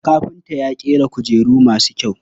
Kafinta ya ƙera kujeru masu kyau.